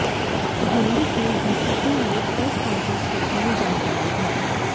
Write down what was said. दिल्ली के डीसीपी ने press conference करके ये जानकारी दी